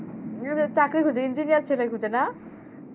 চাকরি খুজে engineer ছেলে খুজেনা?